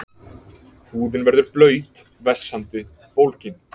Húðin verður blaut, vessandi, bólgin.